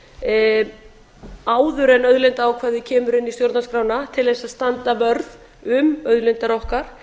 sérlög áður en auðlindaákvæðið kemur inn í stjórnarskrána til þess að standa vörð um auðlindir okkar